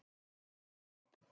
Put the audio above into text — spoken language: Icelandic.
Mál Inga